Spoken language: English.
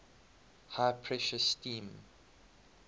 high pressure steam